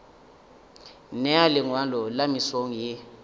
nea lengwalo le mesong ye